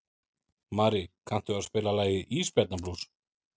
Marí, kanntu að spila lagið „Ísbjarnarblús“?